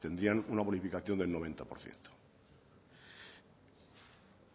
tendrían una bonificación del noventa por ciento